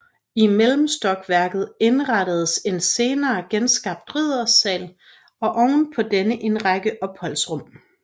I mellemstokværket indrettedes en senere genskabt riddersal og oven på denne en række opholdsrum